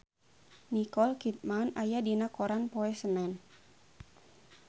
Nicole Kidman aya dina koran poe Senen